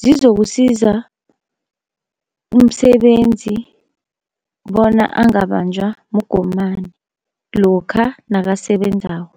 zizokusiza umsebenzi bona angabanjwa mgomani lokha nakasebenzako.